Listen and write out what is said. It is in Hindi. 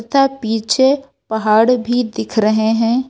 तथा पीछे पहाड़ भी दिख रहे हैं।